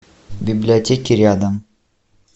библиотеки рядом